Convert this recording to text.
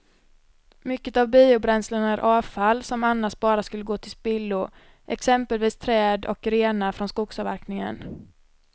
Mycket av biobränslena är avfall som annars bara skulle gå till spillo, exempelvis träd och grenar från skogsavverkningen.